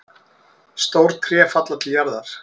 Stór tré falla til jarðar.